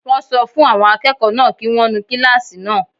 Wọ́n sọ fún àwọn akẹ́kọ̀ọ́ náà kí wọ́n nu kílásì náà